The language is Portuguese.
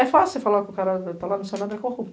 É fácil falar que o cara tá lá no Senado e é corrupto.